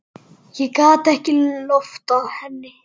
Ég gat ekki loftað henni.